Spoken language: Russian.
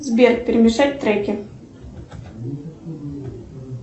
сбер перемешать треки